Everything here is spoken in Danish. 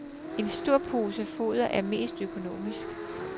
En stor pose foder er mest økonomisk.